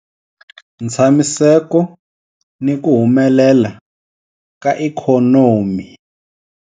Ntshamiseko ni ku humelela ka ikhonomi.